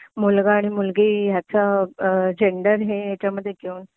मुलगा आणि मुलगी ह्याचा जेण्डर हे ह्याच्यामध्ये घेऊन